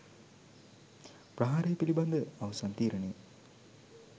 ප්‍රහාරය පිළිබඳ අවසන් තීරණය